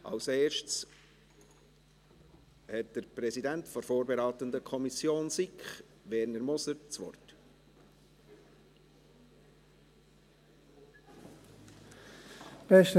Zuerst hat der Präsident der vorberatenden Kommission SiK, Werner Moser, das Wort.